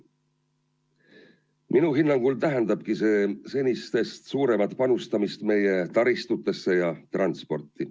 Minu hinnangul tähendabki see senistest suuremat panustamist meie taristutesse ja transporti.